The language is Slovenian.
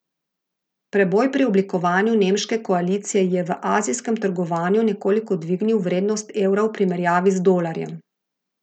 Preboj pri oblikovanju nemške koalicije je v azijskem trgovanju nekoliko dvignil vrednost evra v primerjavi z dolarjem.